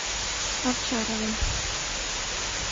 овчаровым